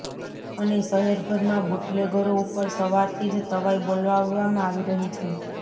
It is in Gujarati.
અને શહેરભરમાં બુટલેગરો ઉપર સવારથી જ તવાઈ બોલાવવામાં આવી રહી છે